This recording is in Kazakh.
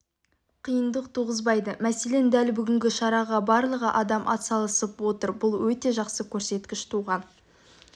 қиындық туғызбайды мәселен дәл бүгінгі шараға барлығы адам атсалысып отыр бұл өте жақсы көрсеткіш туған